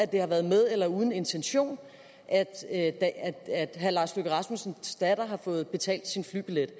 det har været med eller uden intention at herre lars løkke rasmussens datter har fået betalt sin flybillet